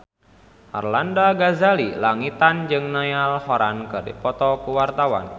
Arlanda Ghazali Langitan jeung Niall Horran keur dipoto ku wartawan